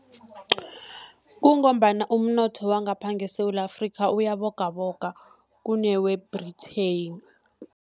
Kungombana umnotho wangapha eSewula Afrikha, uyabogaboga kunewe-Britain.